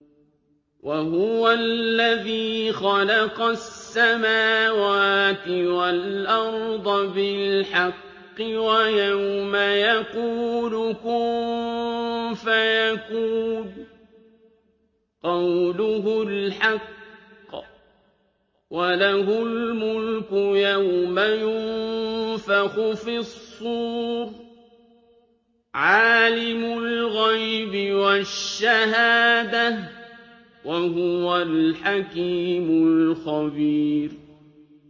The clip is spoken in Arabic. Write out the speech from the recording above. وَهُوَ الَّذِي خَلَقَ السَّمَاوَاتِ وَالْأَرْضَ بِالْحَقِّ ۖ وَيَوْمَ يَقُولُ كُن فَيَكُونُ ۚ قَوْلُهُ الْحَقُّ ۚ وَلَهُ الْمُلْكُ يَوْمَ يُنفَخُ فِي الصُّورِ ۚ عَالِمُ الْغَيْبِ وَالشَّهَادَةِ ۚ وَهُوَ الْحَكِيمُ الْخَبِيرُ